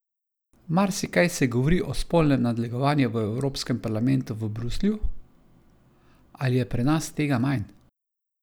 Marsikaj se govori o spolnem nadlegovanju v Evropskem parlamentu v Bruslju, ali je pri nas tega manj?